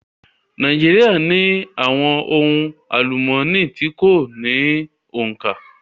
Nàíjíríà ní àwọn ohun àlúmooni tí kò ní òǹkà.